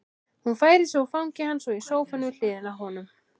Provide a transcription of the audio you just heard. Hún færir sig úr fangi hans og í sófann við hliðina á honum.